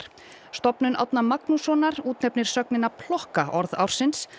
stofnun Árna Magnússonar útnefnir sögnina plokka orð ársins